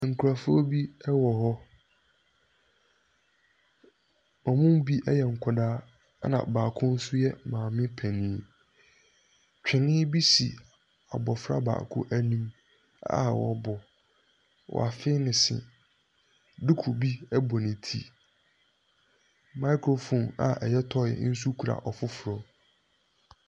Nkurɔfoɔ bi wɔ hɔ, wɔn mu bi nkwadaa, na baako nso yɛ maame panin, twene bi si abɔfra baako anim a ɔrebɔ, wafee ne se, duku bɔ ne ti, microphone a ɛyɛ toy nso kura ɔfoforɔ.